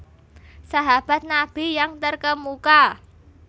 Sahabat Nabi yang Terkemuka